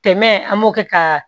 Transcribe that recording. Tɛmɛ an b'o kɛ ka